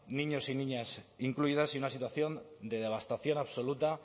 niños y niñas incluidas y una situación de devastación absoluta